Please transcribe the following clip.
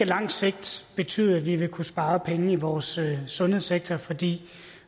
lang sigt betyde at vi vil kunne spare penge i vores sundhedssektor fordi